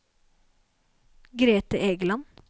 Grethe Egeland